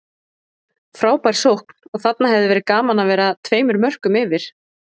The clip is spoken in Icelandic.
Frábær sókn og þarna hefði verið gaman að vera tveimur mörkum yfir.